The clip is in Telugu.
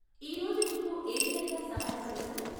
ఈరోజు మీకు ఏ విధంగా సహాయపడగలం?